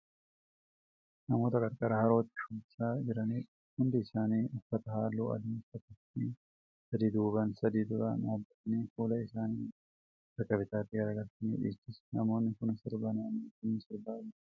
Namoota qarqara harootti shubbisaa jiranidha. Hundi isaanii uffata halluu adii uffatanii, sadi duuban sadi duraan dhaabbatanii fuula isaanii gara harka bitaatti garagalchanii dhiichisu. Namoonni kun sirba naannoo kamii sirbaa jiru?